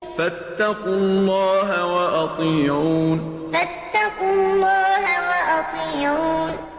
فَاتَّقُوا اللَّهَ وَأَطِيعُونِ فَاتَّقُوا اللَّهَ وَأَطِيعُونِ